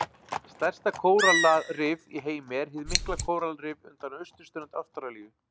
Stærsta kórallarif í heimi er hið mikla kóralrif undan austurströnd Ástralíu.